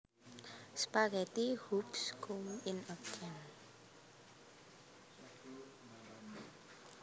Spaghetti hoops come in a can